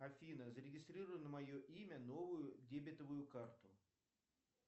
афина зарегистрируй на мое имя новую дебетовую карту